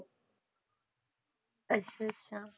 ਅੱਛਾ ਅੱਛਾ